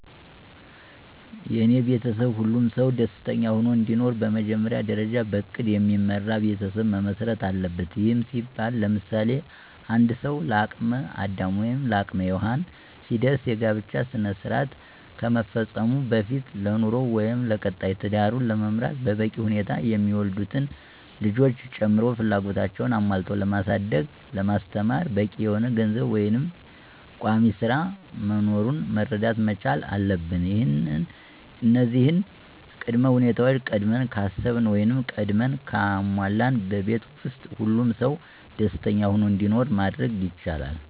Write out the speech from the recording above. የኔ ቤተሰብ ሁሉም ሰው ደስተኛ ሆኖ እንዲኖር በመጀመሪያ ደርጃ በእቅድ የሚመራ ቤተሰብ መመስረት አለበት። ይህም ሲባል ለምሳሌ፦ አንድ ሰው ለአቅም አዳም ወይም ለአቅመ ሄዎን ሲደርስ የጋብቻ ስነስራአት ከመፈፀሙ በፊት ለኑሮው ወይም ለቀጣይ ትዳሩን ለመምራት በበቂ ሁኔታ የሚወለዱትንም ልጆች ጨምሮ ፍላጎታቸውን አሞልቶ ለማሳደግ ለማስተማር በቂ የሆነ ገንዘብ ወይም ቋሚስራ መኖሩን መረዳት መቻል አለብን እነዚህን ቅድመ ሁኔታወች ቀድመን ካሰብን ወይም ቀድመን ካሟላን በቤት ውስጥ ሁሉም ሰው ደስኛ ሁኖ እንዲኖር ማድረግ ይቻላል።